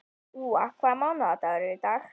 Úa, hvaða mánaðardagur er í dag?